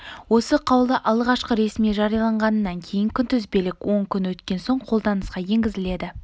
осы қаулы алғашқы ресми жарияланғанынан кейін күнтізбелік он күн өткен соң қолданысқа енгізіледі